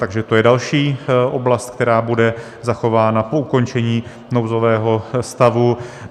Takže to je další oblast, která bude zachována po ukončení nouzového stavu.